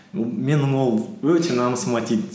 менің ол өте намысыма тиді